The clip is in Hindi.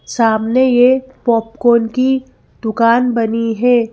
सामने ये पॉपकॉर्न की दुकान बनी है।